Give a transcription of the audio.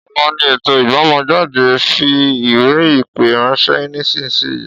Ọ̀la ni ètò ijbomo jade, fi ìwé ìpè ránṣẹ́ nísìsiyìí